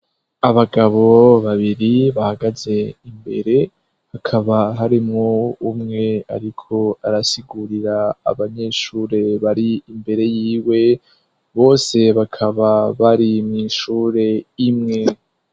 Abagabo babiri bahagaze imbere hakaba harimwo umwe, ariko arasigurira abanyeshure bari imbere yiwe bose bakaba bari mw'ishure imwe.